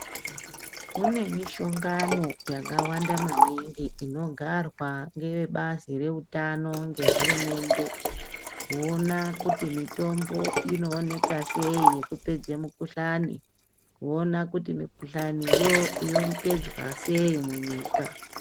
Kune mishongano yakawanda maningi inogarwa ngevebazi reutano ngehurumende, kuona kuti mitombo inooneka sei yekupedza mikhuhlani, kuona kuti mikhuhlaniyo yopedzwa sei munyika.